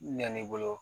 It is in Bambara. Ɲɛn'i bolo